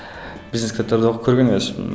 бизнес кітаптарды оқып көрген емеспін